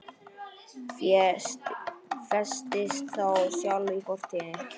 Festist þá sjálf í fortíð.